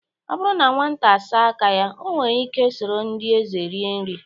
Ọ bụrụ na nwata saa aka ya, o nwere ike soro ndị eze rie nri.